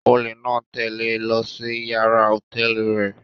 Ólé náa tẹle e lọ si yàrá hotẹẹli rẹ